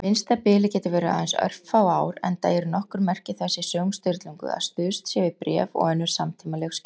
Minnsta bilið getur verið aðeins örfá ár, enda eru nokkur merki þess í sögum Sturlungu að stuðst sé við bréf og önnur samtímaleg skjöl.